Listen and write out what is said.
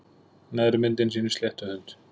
Neðri myndin sýnir sléttuhund.